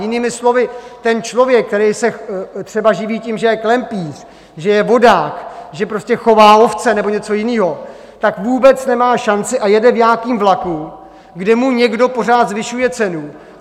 Jinými slovy, ten člověk, který se třeba živí tím, že je klempíř, že je vodák, že prostě chová ovce nebo něco jiného, tak vůbec nemá šanci a jede v nějakém vlaku, kde mu někdo pořád zvyšuje cenu.